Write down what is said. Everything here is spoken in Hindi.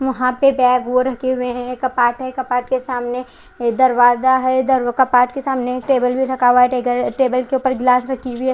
वहां पर बेग वो रखे हुए है कपाट है कपाट के सामने दरवाजा है डर कपाट के सामने एक टेबल भी रखा हुआ है टेगर टेबल के उपर गिलास रखी हुई है।